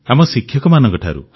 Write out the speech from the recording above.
ଆମ ଶିକ୍ଷକମାନଙ୍କଠାରୁ